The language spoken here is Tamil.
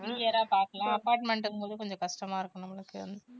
பாக்கலாம் apartment ங்கும்போது கொஞ்சம் கஷ்டமா இருக்கும் நம்மளுக்கு